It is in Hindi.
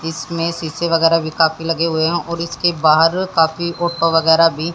इसमें शीशे वगैरह भी काफी लगे हुए हैं और इसके बाहर काफी ऑटो वगैरह भी--